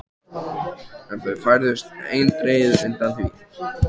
En þau færðust eindregið undan því.